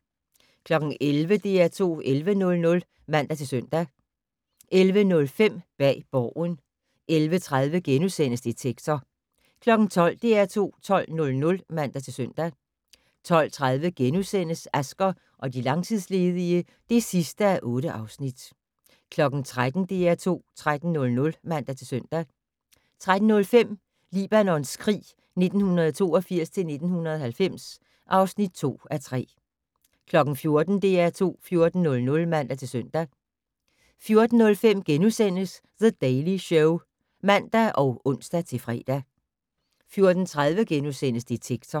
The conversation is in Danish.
11:00: DR2 11:00 (man-søn) 11:05: Bag Borgen 11:30: Detektor * 12:00: DR2 12:00 (man-søn) 12:30: Asger og de langtidsledige (8:8)* 13:00: DR2 13:00 (man-søn) 13:05: Libanons krig 1982-1990 (2:3) 14:00: DR2 14:00 (man-søn) 14:05: The Daily Show *(man og ons-fre) 14:30: Detektor *